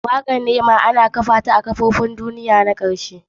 Wakatr rema an kunna ta a wasan kopin duniyan ta karshe.